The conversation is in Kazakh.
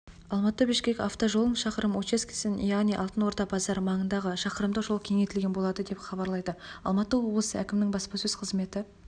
алматы бішкек автожолының шақырымы учаскесін яғни алтын орда базары маңындағы шақырымдық жол кеңейтілетін болады деп хабарлайды алматы облысы әкімінің баспасөз қызметі